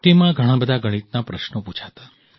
તેમાં ઘણા બધા ગણિતના પ્રશ્નો પૂછાતા